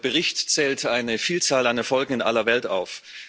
Der Bericht zählt eine Vielzahl an Erfolgen in aller Welt auf.